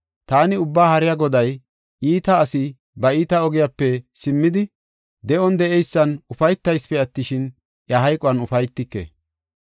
Taani Ubbaa Haariya Goday, iita asi ba iita ogiyape simmidi, de7on de7eysan ufaytaysipe attishin, iya hayquwan ufaytike.